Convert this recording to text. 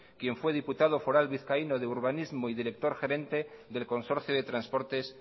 quien fue diputado foral vizcaíno de urbanismo y director gerente del consorcio de transportes